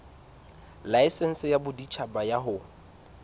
laesense ya boditjhaba ya ho